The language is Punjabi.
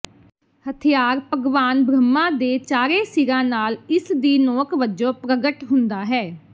ਹਥਿਆਰ ਭਗਵਾਨ ਬ੍ਰਹਮਾ ਦੇ ਚਾਰੇ ਸਿਰਾਂ ਨਾਲ ਇਸ ਦੀ ਨੋਕ ਵਜੋਂ ਪ੍ਰਗਟ ਹੁੰਦਾ ਹੈ